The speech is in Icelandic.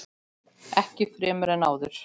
Ekki fremur en áður.